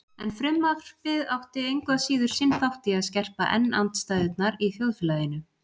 En frumvarpið átti engu að síður sinn þátt í að skerpa enn andstæðurnar í þjóðfélaginu.